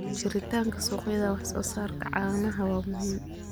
Jiritaanka suuqyada wax soo saarka caanaha waa muhiim.